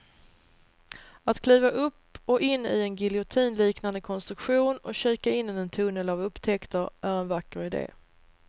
Att kliva upp och in i en giljotinliknande konstruktion och kika in i en tunnel av upptäckter är en vacker idé.